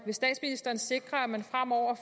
vil statsministeren sikre at man fremover